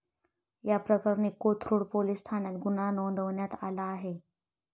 याप्रकरणी कोथरूड पोलीस ठाण्यात गुन्हा नोंदवण्यात आला आहे.